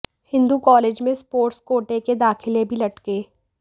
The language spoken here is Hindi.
हिंदू कॉलेज में स्पोर्ट्स कोटे के दाखिले भी लटके